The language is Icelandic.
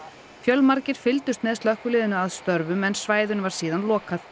fjölmargir fylgdust með slökkviliðinu að störfum en svæðinu var síðar lokað